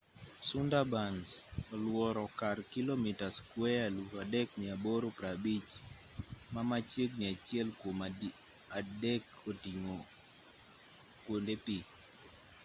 sundarbans oluoro kar kilomita skueya 3,850 ma machiegni achiel kuom adiek oting'o kuonde pi